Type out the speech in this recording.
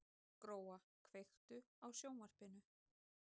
Gróa, kveiktu á sjónvarpinu.